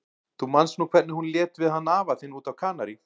Þú manst nú hvernig hún lét við hann afa þinn úti á Kanarí.